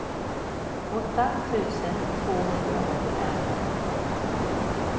åtta tusen tvåhundraåttiofem